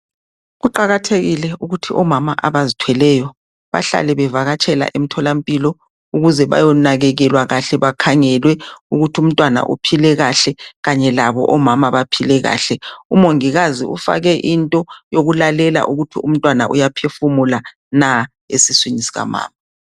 Kuqakathekile ukuthi omama abazithweleyo bahlale bevakatsha emtholampilo ukuze bayonakekelwa kahle bakhangelwe ukuthi umntwana uphile kahle kanye labo omama baphile lahle umongikazi ufake into yokulalela ukuthi umntwana uyaphefumula na esiswini sikamama.